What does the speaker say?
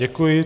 Děkuji.